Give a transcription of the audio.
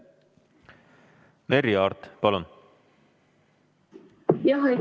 Merry Aart, palun!